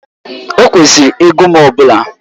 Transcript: Ọ kwesịrị ego m ọ bụla